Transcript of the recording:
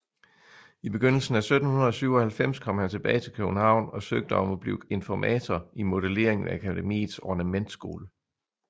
I begyndelsen af 1797 kom han tilbage til København og søgte om at blive informator i modellering ved Akademiets ornamentskole